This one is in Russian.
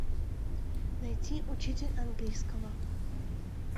найти учитель английского